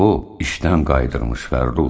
O, işdən qayıtmış Fəxrrux.